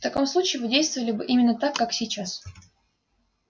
в таком случае вы действовали бы именно так как сейчас